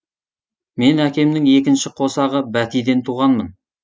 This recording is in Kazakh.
мен әкемнің екінші қосағы бәтиден туғанмын